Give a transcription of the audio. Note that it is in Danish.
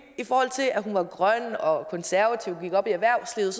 i forhold til at hun var grøn og konservativ og gik op i erhvervslivet